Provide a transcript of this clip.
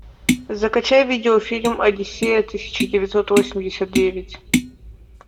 закачай видеофильм одиссея тысяча девятьсот восемьдесят девять